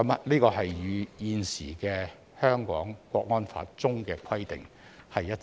這與現行《香港國安法》中的規定一致。